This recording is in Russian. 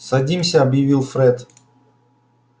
садимся объявил фред